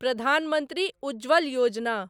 Pradhan Mantri Ujjwal Yojana